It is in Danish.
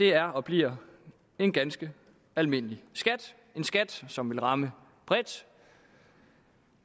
er og bliver en ganske almindelig skat som vil ramme bredt